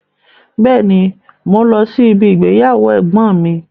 Bẹ́ẹ̀ni, mò ún lọ sí ibi igbéyàwó ẹ̀gbọ́n mi